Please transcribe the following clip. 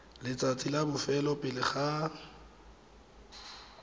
letsatsing la bofelo pele ga